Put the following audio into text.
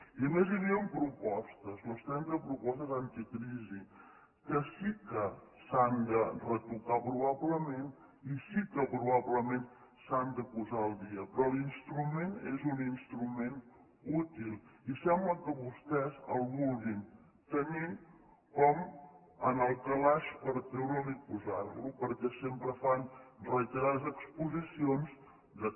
i a més hi havien propostes les trenta propostes anticrisi que sí que s’han de retocar probablement i sí que probablement s’han de posar al dia però l’instrument és un instrument útil i sembla que vostès el vulguin tenir en el calaix per treure’l i posar lo perquè sempre fan reiterades exposicions que